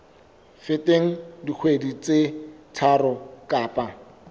feteng dikgwedi tse tharo kapa